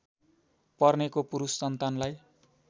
पर्नेको पुरुष सन्तानलाई